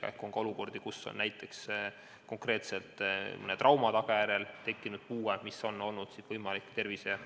Samuti on olukordi, kus näiteks konkreetselt mõne trauma tagajärjel on tekkinud puue, mida on olnud võimalik tervishoiu